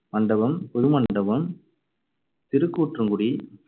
Mandapam, Pudumandapam, Tirukkurungudi,